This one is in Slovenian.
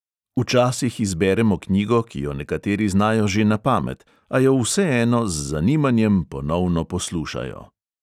Včasih izberemo knjigo, ki jo nekateri znajo že na pamet, a jo vseeno z zanimanjem ponovno poslušajo.